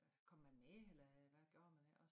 Kom man med eller hvad gjorde man iggå